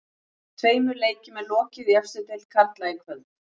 Tveimur leikjum er lokið í efstu deild karla í kvöld.